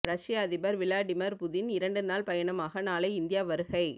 ரஷ்ய அதிபர் Vladimir Putin இரண்டு நாள் பயணமாக நாளை இந்தியா வருகை